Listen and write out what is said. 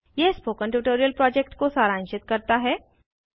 यह spoken tutorial project को सारांशित करता है